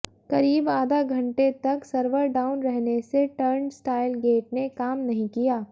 करीब आधा घंटे तक सर्वर डाउन रहने से टर्न स्टाइल गेट ने काम नहीं किया